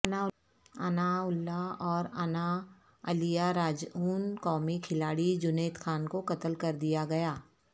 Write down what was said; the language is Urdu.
اناللہ واناالیہ را جعو ن قومی کھلاڑی جنیدخان کوقتل کردیاگیا